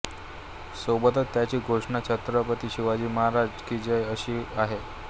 सोबतच त्यांची घोषणा छत्रपती शिवाजी महाराज की जय अशी आहे